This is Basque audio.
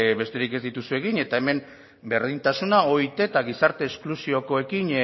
besterik ez dituzu egin eta hemen berdintasuna oit eta gizarte esklusiokoekin